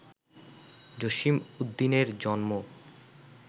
জসীম উদ্দীনের জন্ম